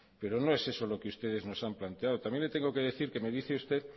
pero no es eso lo que ustedes nos han planteado también le tengo que decir que me dice usted